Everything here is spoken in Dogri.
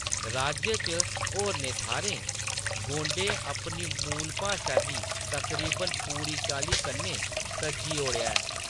राज्य च होरनें थाह्‌रें, गोंडें अपनी मूल भाशा गी तकरीबन पूरी चाल्ली कन्नै तज्जी ओड़ेआ ऐ।